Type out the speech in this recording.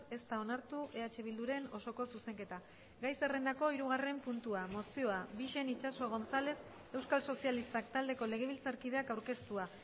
ez da onartu eh bilduren osoko zuzenketa gai zerrendako hirugarren puntua mozioa bixen itxaso gonzález euskal sozialistak taldeko legebiltzarkideak aurkeztua